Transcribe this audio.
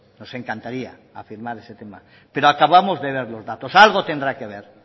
nos encantaría afirmar ese tema pero acabamos de ver los datos algo tendrá que ver